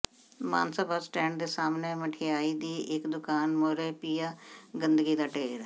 Mansa bus stand ਦੇ ਸਾਹਮਣੇ ਮਠਿਆਈ ਦੀ ਇੱਕ ਦੁਕਾਨ ਮੂਹਰੇ ਪਿਆ ਗੰਦਗੀ ਦਾ ਢੇਰ